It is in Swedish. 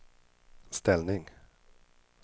ställning